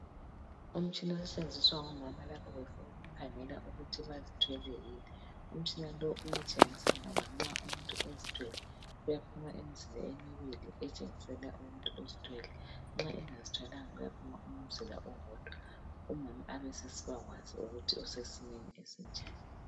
Umtshina osetshenziswa ngomama lapha befuna ukukhangela ukuthi bazithwele yini umtshina lo uyatshengisa ngoba nxa umuntu ezithwele uyaphuma imizila emibili etshengisela ukuthi uzithwele nxa engazithwalanga kuyaphuma umzila owodwa umama abesesiba kwazi ukuthi usesimeni esinjani.